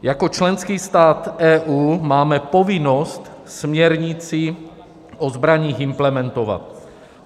Jako členský stát EU máme povinnost směrnici o zbraních implementovat.